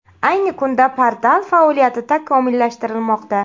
Ayni kunda portal faoliyati takomillashtirilmoqda.